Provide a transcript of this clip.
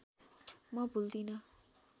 म भुल्दिनँ